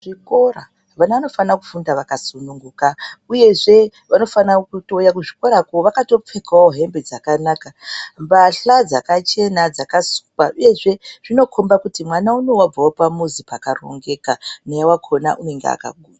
Chikora vana vanofana kufunda vaka sununguka uyezve vanofana kutouya ku zvikorako vakato pfekawo hembe dzakanaka mbahla dzakachena dzaka sukwa uyezve zvino komba kuti mwana unowu wabvawo pamuzi paka rongeka naye wakona unenge aka.